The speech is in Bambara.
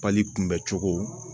Pali kunbɛcogo